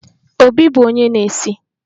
Obi bụ onye na-esi